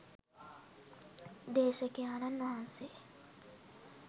දේශකයාණන් වහන්සේ